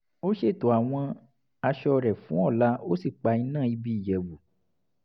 ó ṣètò àwọn aṣọ rẹ̀ fún ọ̀la ó sì pa iná ibi ìyẹ̀wù